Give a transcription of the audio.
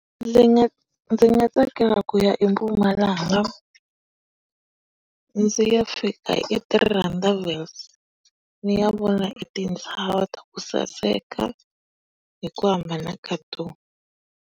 Ndzi nga ndzi nga tsakela ku ya eMpumalanga, ndzi ya fika e-Three Rondavels, ni ya vona e tintshava ta ku saseka, hi ku hambana ka tona.